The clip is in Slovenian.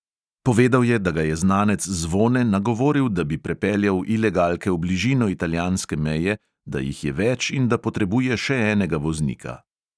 Povedal je, da ga je znanec zvone nagovoril, da bi prepeljal ilegalke v bližino italijanske meje, da jih je več in da potrebuje še enega voznika.